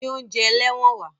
Gbé oúnjẹ ẹlẹ́wọ̀n wá!